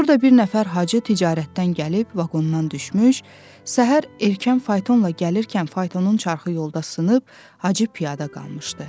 Burda bir nəfər Hacı ticarətdən gəlib vaqondan düşmüş, səhər erkən faytonla gəlirkən faytonun çarxı yolda sınıb Hacı piyada qalmışdı.